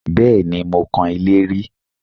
Bẹ́ẹ̀ni, mo kan ilé rí